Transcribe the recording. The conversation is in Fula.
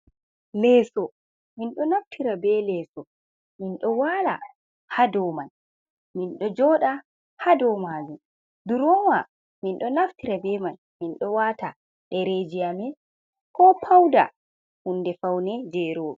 Leeso min ɗo naftira be leeso min ɗo wala haa doman, mindo joda haa do majum, durowa mindo naftira be man mindo wata dereji amin, ko pauda hunde faune jero ɓe.